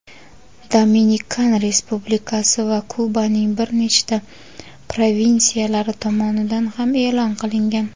Dominikan Respublikasi va Kubaning bir nechta provinsiyalari tomonidan ham e’lon qilingan.